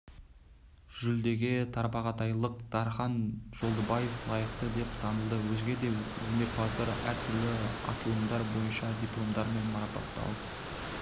жүлдеге тарбағатайлық дархан жолдыбаев лайықты деп танылды өзге де өнерпаздар әртүрлі аталымдар бойынша дипломдармен марапатталып